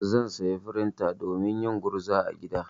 Zan saya frinta domin yin gurza a gida.